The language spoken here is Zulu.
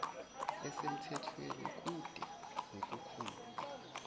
esemthethweni kude nekomkhulu